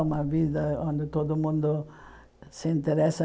Uma vida onde todo mundo se interessa.